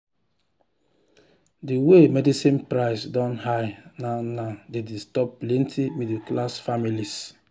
the way medicine price don high now now dey disturb plenty middle-class families.